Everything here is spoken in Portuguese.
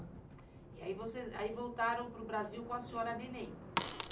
Aí vocês, voltaram para o Brasil com a senhora neném.